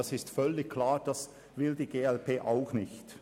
Dies ist offensichtlich, und dies will auch die glp nicht.